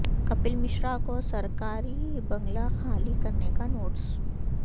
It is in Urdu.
کپل مشرا کو سرکار ی بنگلہ خالی کرنے کا نوٹس